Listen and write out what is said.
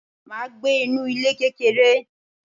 Mà á gbé inú ilé kékeré.